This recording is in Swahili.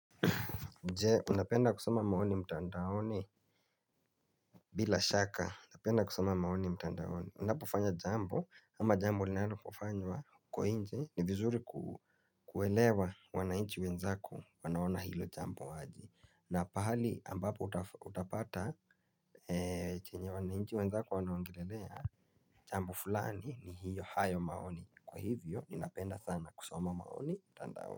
Nje unapenda kusoma maoni mtandaoni bila shaka napenda kusoma maoni mtandaoni unapofanya jambo ama jambo linanapofanywa kwa inje ni vizuri kuelewa wanainchi wenzako wanaona hilo jambo aje na pahali ambapo utapata chenye wanainchi wenzako wanaongelelea. Jambo fulani ni hiyo hayo maoni kwa hivyo ninapenda sana kusoma maoni mtandaone.